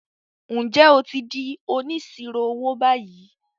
Ǹjẹ́ o ti di “ Onísirò owó " báyìí?